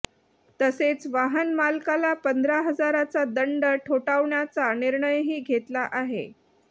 तसेच वाहनमालकाला पंधरा हजाराचा दंड ठोठावण्याचा निर्णयही घेतला आहे